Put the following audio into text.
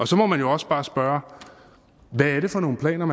så må man jo også bare spørge hvad er det for nogle planer